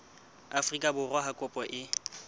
afrika borwa ha kopo e